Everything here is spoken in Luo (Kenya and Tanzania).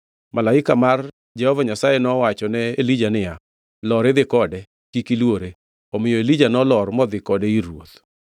Malaika mar Jehova Nyasaye nowachone Elija niya, “Lor idhi kode, kik iluore.” Omiyo Elija nolor modhi kode ir ruoth.